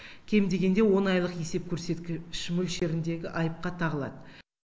кем дегенде он айлық есеп көрсеткіш мөлшеріндегі айыпқа тағылады